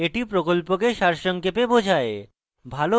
এটি প্রকল্পকে সারসংক্ষেপে বোঝায়